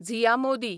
Zia Modi